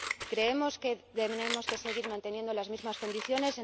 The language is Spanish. ¿Creemos que tenemos que seguir manteniendo las mismas condiciones?